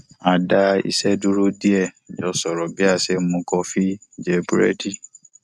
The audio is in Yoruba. a dá iṣẹ dúró díẹ jọ sọrọ bí a ṣe ń mu kọfí jẹ búrẹdì